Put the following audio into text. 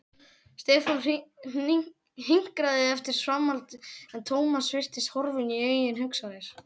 Stefán hinkraði eftir framhaldi en Thomas virtist horfinn í eigin hugsanir.